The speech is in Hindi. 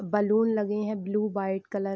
बलून लगे हैं ब्लू - वाइट कलर |